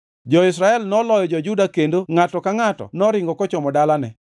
Jo-Israel noloyo jo-Juda kendo ngʼato ka ngʼato noringo kochomo dalane.